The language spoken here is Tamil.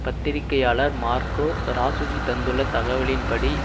பத்திரிகையாளர் மார்கோ ராசுஜி தந்துள்ள தகவலின்படி